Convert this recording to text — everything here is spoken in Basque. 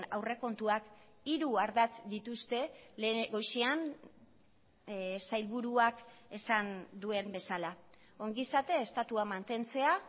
aurrekontuak hiru ardatz dituzte goizean sailburuak esan duen bezala ongizate estatua mantentzea